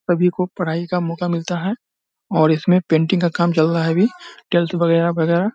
सब ही को पढाई का मौका मिलता है और इसमे पेंटिंग का काम चल रहा है अभी टेल्स बगेरा-बगेरा।